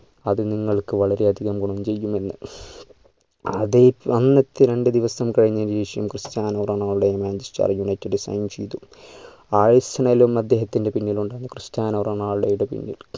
അത് നിങ്ങൾക്ക് വളരെ അധികം ഗുണം ചെയ്യുമെന്ന് അത് അന്നത്തെ രണ്ട് ദിവസം കഴിഞ്ഞ് ശേഷം Cristiano Ronaldo manchester united sign ചെയ്തു arsenal ഉം അദ്ദേഹത്തിന്റെ പിന്നിൽ ഉണ്ടായിരുന്നു ക്രിസ്റ്റ്യാനോ റൊണാൾഡോയുടെ പിന്നിൽ